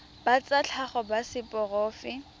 ba tsa tlhago ba seporofe